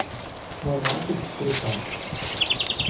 мой мальчик четыре ка